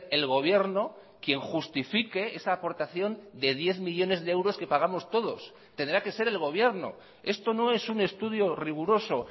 el gobierno quien justifique esa aportación de diez millónes de euros que pagamos todos tendrá que ser el gobierno esto no es un estudio riguroso